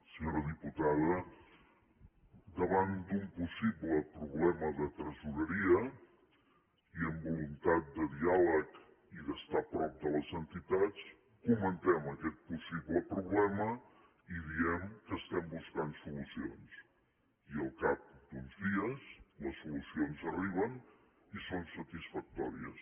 senyora diputada davant d’un possible problema de tresoreria i amb voluntat de diàleg i d’estar prop de les entitats comentem aquest possible problema i diem que hi estem buscant solucions i al cap d’uns dies les solucions arriben i són satisfactòries